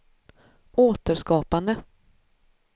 återskapande